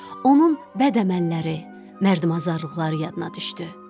Onun bəd əməlləri, mərdəmazarlıqları yadına düşdü.